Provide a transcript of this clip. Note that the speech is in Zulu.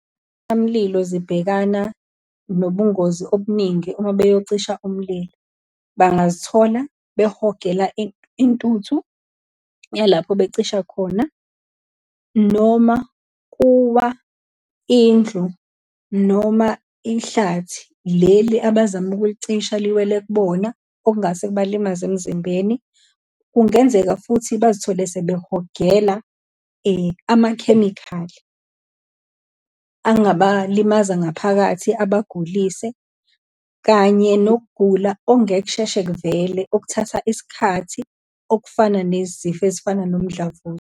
zibhekana nobungozi obuningi uma beyocisha umlilo. Bangazithola behogele intuthu yalapho becisha khona, noma kuwa indlu, noma ihlathi leli abazama ukulicisha, liwele kubona, okungase kubalimaze emzimbeni. Kungenzeka futhi bazithole sebehogela amakhemikhali, angabalimaza ngaphakathi abagulise, kanye nokugula ongeke kusheshe kuvele okuthatha isikhathi, okufana nezifo ezifana nomdlavuza.